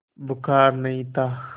बुखार नहीं था